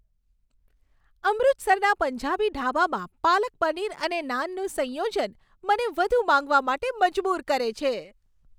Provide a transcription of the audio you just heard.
અમૃતસરના પંજાબી ઢાબામાં પાલક પનીર અને નાનનું સંયોજન, મને વધુ માંગવા માટે મજબૂર કરે છે.